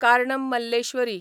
Karnam Malleswari